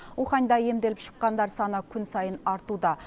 уханьда емделіп шыққандар саны күн сайын артуда